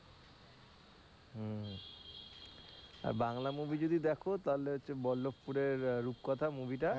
Bangla movie যদি দেখো তাহলে হচ্ছে বল্লভপুরের রূপকথার movie টা